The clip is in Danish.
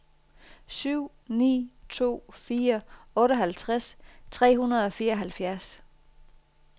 syv ni to fire otteoghalvtreds tre hundrede og fireoghalvfjerds